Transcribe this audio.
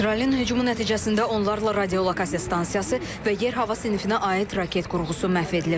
İsrailin hücumu nəticəsində onlarla radiolokasiya stansiyası və yer-hava sinfinə aid raket qurğusu məhv edilib.